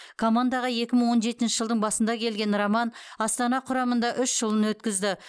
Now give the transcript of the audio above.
командаға екі мың он жетінші жылдың басында келген роман астана құрамында үш жылын өткізді